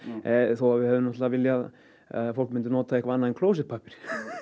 þó að við hefðum viljað að fólk notaði eitthvað annað en klósettpappír